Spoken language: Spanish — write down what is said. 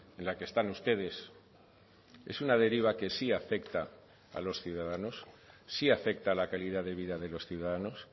en la que están ustedes es una deriva que sí afecta a los ciudadanos sí afecta a la calidad de vida de los ciudadanos